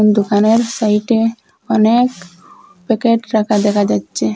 দোকানের সাইটে অনেক প্যাকেট রাখা দেখা যাচ্ছে।